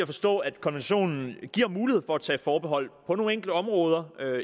forstå at konventionen giver mulighed for at tage forbehold på nogle enkelte områder